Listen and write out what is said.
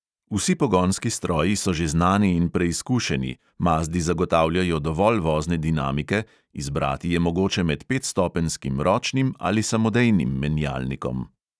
Vsi pogonski stroji so že znani in preizkušeni, mazdi zagotavljajo dovolj vozne dinamike, izbrati je mogoče med petstopenjskim ročnim ali samodejnim menjalnikom.